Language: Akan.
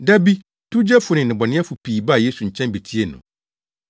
Da bi, towgyefo ne nnebɔneyɛfo pii baa Yesu nkyɛn betiee no.